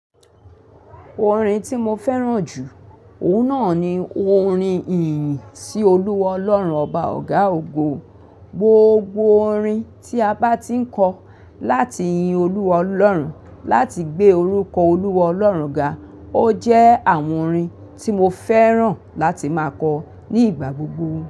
Orin tí mo fẹ́ràn jù, òun náà ni orin ìyìn sí Olúwa Ọlọ́run ọba ọ̀gá ògo. Gbogbo orin tí a bá ti ń kọ láti yin Olúwa Ọlọ́run, láti gbé orúkọ Olúwa Ọlọ́run ga, ó jẹ́ àwọn orin tí mo fẹ́ràn láti máa kọ ní ìgbà gbogbo.